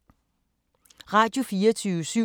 Radio24syv